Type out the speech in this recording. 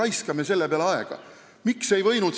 Miks me selle peale aega raiskame?